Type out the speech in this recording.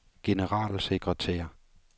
generalsekretær